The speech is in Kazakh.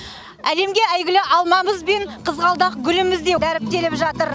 әлемге әйгілі алмамыз бен қызғалдақ гүліміз де дәріптеліп жатыр